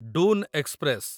Doon express